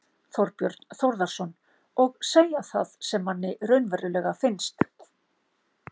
Þorbjörn Þórðarson: Og segja það sem manni raunverulega finnst?